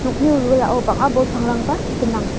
wilwilao bang·a bol pangrangba gnang.